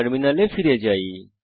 টার্মিনালে ফিরে যাই